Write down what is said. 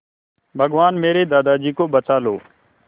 भगवान मेरे दादाजी को बचा लो